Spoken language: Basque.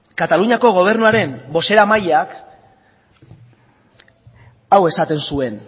kataluniako gobernuaren bozeramaileak hau esaten zuen